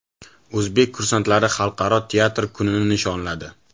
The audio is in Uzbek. O‘zbek kursantlari Xalqaro teatr kunini nishonladi.